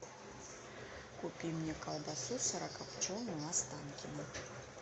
купи мне колбасу сырокопченую останкино